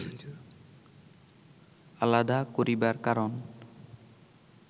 আলাদা করিবার কারণ